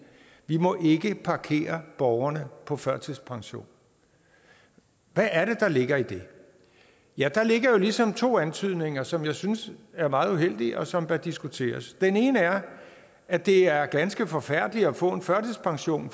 vi må ikke parkere borgerne på førtidspension hvad er det der ligger i det ja der ligger jo ligesom to antydninger som jeg synes er meget uheldige og som bør diskuteres den ene er at det er ganske forfærdeligt at få en førtidspension